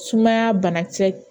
Sumaya bana kisɛ